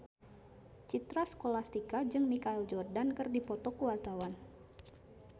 Citra Scholastika jeung Michael Jordan keur dipoto ku wartawan